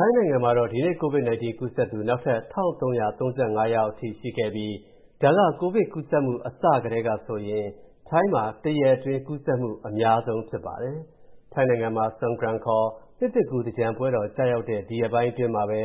ိုင်းနိုင်ငံမှာတော့၊ ဒီနေ့ COVID-19 ကူးစက်သူ နောက်ထပ် ၁,၃၃၅ ယောက်အထိရှိခဲ့ပြီး ဒါက ကိုဗစ်ကူးစက်မှု အစကတည်းကဆိုရင် ထိုင်းမှာ တရက်အတွင်းကူးစက်မှု အများဆုံး ဖြစ်ပါတယ်။ ထိုင်းနိုင်ငံမှာ Songkran ခေါ် နှစ်သစ်ကူး သင်္ကြန်ပွဲတော်ကျရောက်တဲ့ ဒီရက်ပိုင်းတွေထဲမှာပဲ